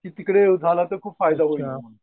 तिकडे झालं तर खूप फायदा होईल म्हणून.